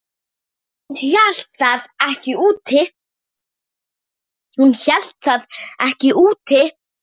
Hún hélt það ekki út!